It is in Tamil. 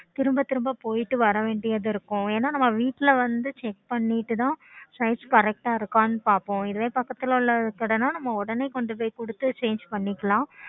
திரும்ப திரும்ப போயிட்டு வரவேண்டியது இருக்கும் என்ன நம்ப வீட்டுல வந்து check பண்ணிட்டுதான் size Correct ஆஹ் இருக்கனு பாப்போம் இதுவே பக்கத்துல உள்ள கடைநா நம்ப உடனே கொண்டு போய் கொடுத்து Change பண்ணிக்கலாம்